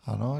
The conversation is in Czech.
Ano.